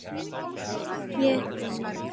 Ég fer niður.